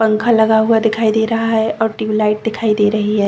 पंखा लगा हुआ दिखाई दे रहा है और टिवलाईट दिखाई दे रही है।